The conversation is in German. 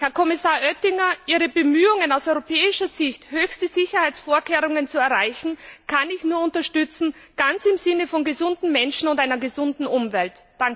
Herr Kommissar Oettinger, Ihre Bemühungen, aus europäischer Sicht höchste Sicherheitsvorkehrungen zu erreichen, kann ich nur unterstützen ganz im Sinne von gesunden Menschen und einer gesunden Umwelt.